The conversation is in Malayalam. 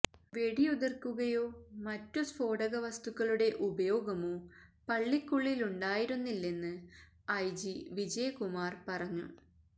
വെടിയുതിര്ക്കുകയോ മറ്റു സ്ഫോടകവസ്തുക്കളുടെ ഉപയോഗമോ പള്ളിക്കുള്ളിലുണ്ടാിരുന്നില്ലെന്ന് ഐജി വിജയ് കുമാര് പറഞ്ഞു